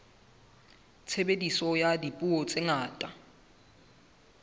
tshebediso ya dipuo tse ngata